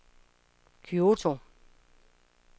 Kyoto